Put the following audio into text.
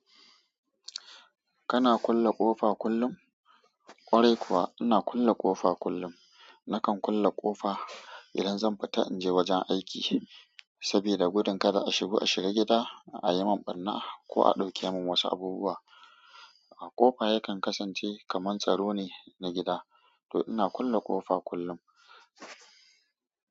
Kana kulle ƙofa kullum? Kwarai kuwa ina kulle ƙofa kullum. Nakan kulle ƙofa idan zan fita inje wajen aiki, saboda gudun kada a shigo a shiga gida ayimin ɓarna ko a ɗauke min wasu abubuwa. Ƙofa yakan kasance kaman tsaro ne na gida, to ina kulle ƙofa kullum.